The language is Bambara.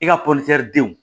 I ka denw